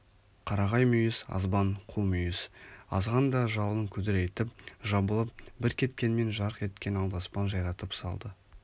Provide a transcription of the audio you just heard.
қарағай мүйіз азбан қу мүйіз азған да жалын күдірейтіп жабылып бір кеткенмен жарқ еткен алдаспан жайратып салды